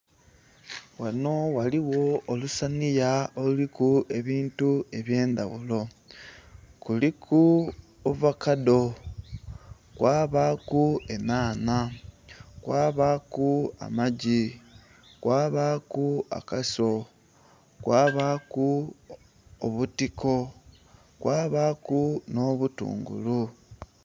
Ghanho ghaligho olusanhiya oluliku ebintu ebyendhaghulo kuliku ovakado, kwabaku enhanha, kwabaku amaggi, kwabaku akaso, kwabaku obutiko, kwabaku nho obutungulu.